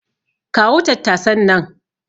Kawo tattasan nan.